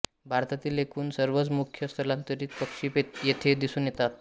भारतातील एकूण सर्वच मुख्य स्थलांतरित पक्षी येथे दिसून येतात